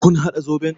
Kun haɗa zoɓon?